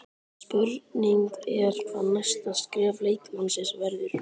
Spurning er hvað næsta skref leikmannsins verður?